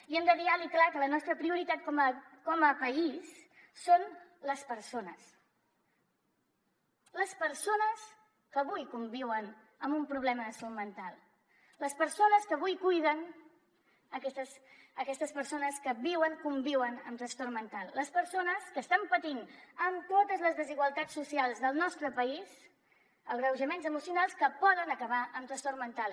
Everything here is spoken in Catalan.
i hem de dir alt i clar que la nostra prioritat com a país són les persones les persones que avui conviuen amb un problema de salut mental les persones que avui cuiden aquestes persones que viuen conviuen amb trastorn mental les persones que estan patint amb totes les desigualtats socials del nostre país agreujaments emocionals que poden acabar en trastorn mental